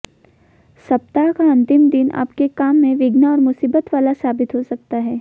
सप्ताह का अंतिम दिन आपके काम में विघ्न और मुसीबत वाला साबित हो सकता है